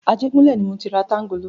Ajégúnlẹ̀ ni mọ ti ra tángálò.